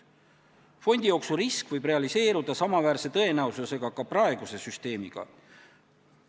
Fondijooksu risk võib samaväärse tõenäosusega realiseeruda ka praeguse süsteemi korral.